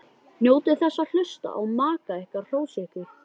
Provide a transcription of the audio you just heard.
Njótið þess að hlusta á maka ykkar hrósa ykkur.